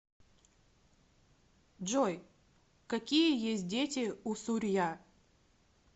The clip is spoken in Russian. джой какие есть дети у сурья